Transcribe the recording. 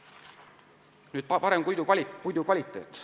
Uuendusraie eeliseks on ka parem puidukvaliteet.